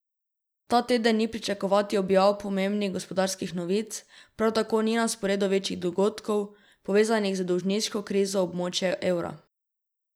Ta teden ni pričakovati objav pomembnih gospodarskih novic, prav tako ni na sporedu večjih dogodkov, povezanih z dolžniško krizo območja evra.